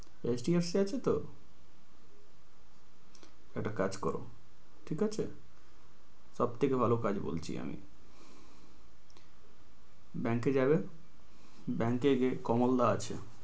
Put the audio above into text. HDFC এ আছে তো? একটা কাজ কর ঠিক আছে? সব থেকে ভালো কাজ বলছি আমি। bank এ যাবে bank এ যে কমলদা আছে